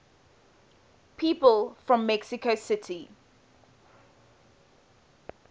people from mexico city